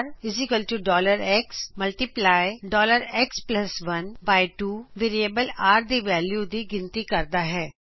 rxਐਕਸ12ਵੈਰਿਏਬਲ r ਦੀ value ਦੀ ਗਿਨਤੀ ਕਰਦਾ ਹੈਂ